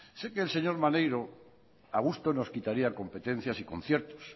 sé que el señor maneiro a gusto nos quitaría competencias y conciertos